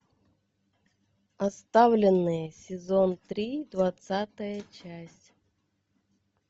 оставленные сезон три двадцатая часть